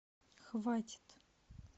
хватит